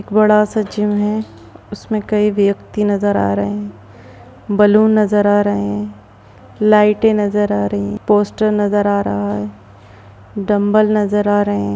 बड़ा-सा जिम है उसमें कई व्यक्ति नजर आ रहे हैं बैलून नजर आ रहे हैं लाइटे नजर आ रही हैं पोस्टर नजर आ रहा है डम्बल नजर आ रहे हैं।